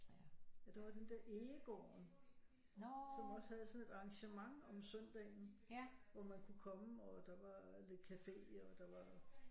Ja der var den der Egegården som også havde sådan et arrangement om søndagen hvor man kunne komme og der var lidt café og der var